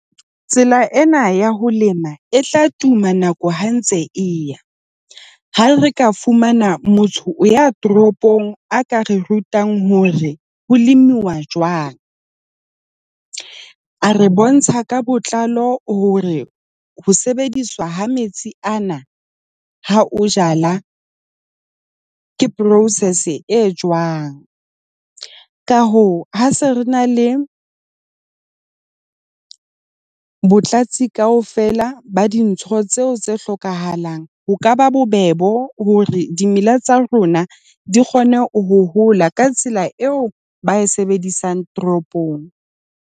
Tsela ena ya ho lema e tla tuma nako ha ntse e ya. Ha re ka fumana motho ya toropong a ka re rutang hore ho uwa jwang. A re bontsha ka botlalo hore ho sebediswa ha metsi ana ha o jala ke process e jwang. Ka hoo, ha se re na le botlhatsi kaofela ba dintho tseo tse hlokahalang. Ho ka ba bobebe bo hore dimela tsa rona di kgone ho ho hola ka tsela eo ba e sebedisang toropong.